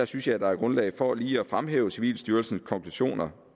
synes jeg at der er grundlag for lige at fremhæve civilstyrelsens konklusioner